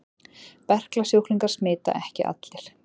Berklasjúklingar smita ekki allir.